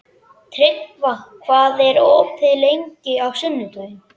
Tryggva, hvað er opið lengi á sunnudaginn?